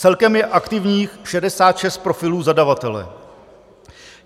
Celkem je aktivních 66 profilů zadavatele.